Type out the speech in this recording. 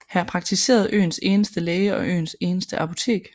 Her praktiserede øens eneste læge og øens eneste apotek